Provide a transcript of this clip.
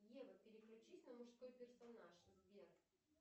ева переключись на мужской персонаж сбер